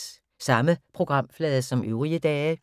Samme programflade som øvrige dage